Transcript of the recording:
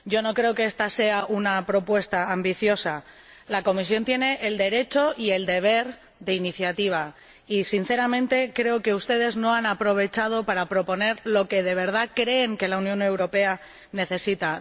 No creo que esta sea una propuesta ambiciosa. La Comisión tiene el derecho y el deber de iniciativa y, sinceramente, creo que ustedes no lo han aprovechado para proponer lo que de verdad creen que la Unión Europea necesita.